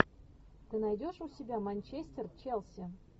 ты найдешь у себя манчестер челси